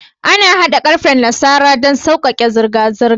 An hada karfen nasara daban daban don saujaka zurga zurga